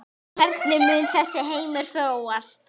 Hvernig mun þessi heimur þróast?